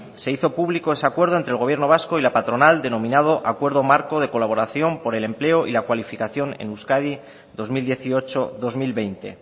se hizo público ese acuerdo entre el gobierno vasco y la patronal denominado acuerdo marco de colaboración por el empleo y la cualificación en euskadi dos mil dieciocho dos mil veinte